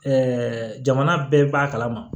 jamana bɛɛ b'a kalama